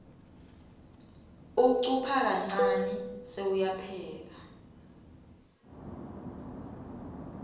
ucupha kancane sewuyapheka